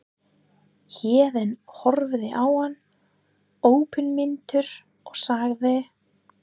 Héðinn horfði á hann opinmynntur og sagði